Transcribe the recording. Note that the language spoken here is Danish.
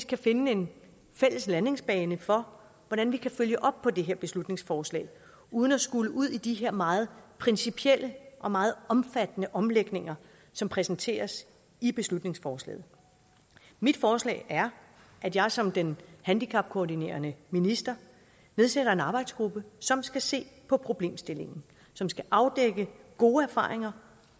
kan finde en fælles landingsbane for hvordan vi kan følge op på det her beslutningsforslag uden at skulle ud i de her meget principielle og meget omfattende omlægninger som præsenteres i beslutningsforslaget mit forslag er at jeg som den handicapkoordinerende minister nedsætter en arbejdsgruppe som skal se på problemstillingen som skal afdække gode erfaringer